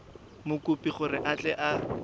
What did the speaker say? mokopi gore a tle a